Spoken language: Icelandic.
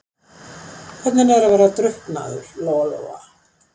Hvernig er að vera drukknaður, Lóa-Lóa?